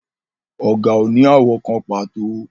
Ọ̀gà ò ní àwọ̀ kan pàtó